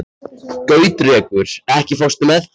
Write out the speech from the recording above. Gautrekur, ekki fórstu með þeim?